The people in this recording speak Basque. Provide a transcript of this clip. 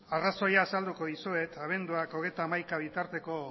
arrazoia azalduko dizuet abenduak hogeita hamaika bitarteko